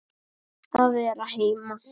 Að vera heima.